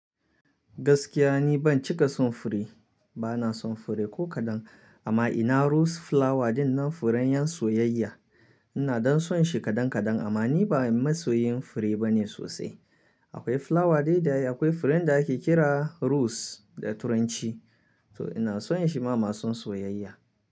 Gaskiya ni ban cika son fure, bana son fure ko kaɗan amma ina rose flower dinnan furen ƴan soyayya. Ina dan son shi kaɗan kaɗan amma ni ba masoyin fure bane sosai. Akwai flower dai da akwai furen da ake kira rose da turanci to ina son shi ma masun soyayya.